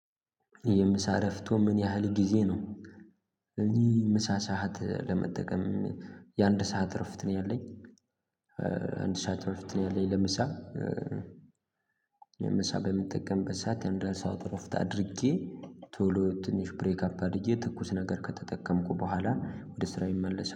የምሳ እረፍቶ ምን ያህል ጊዜ ነው? እኚህ ምሳ ሰዓት ለመጠቀም የአንድ ሰዓት እርፈት ነው ያለኝ። አንድ ሰዓት እረፍት ነው ያለኝ ለምሳ። ለምሳ በምትጠቀምበት ሰዓት የአንድ ሰዓት እረፍት አድርጌ። ቶሎ ትንሽ ብሬክ አፕ አድርጌ ትኩስ ነገር ከተጠቀምኩ በኋላ ወደ ስራ ይመለሳል